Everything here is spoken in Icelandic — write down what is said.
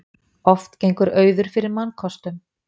Oft gengur auður fyrir mannkostum.